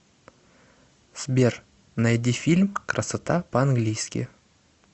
сбер найди фильм красота по английски